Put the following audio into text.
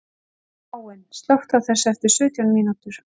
Káinn, slökktu á þessu eftir sautján mínútur.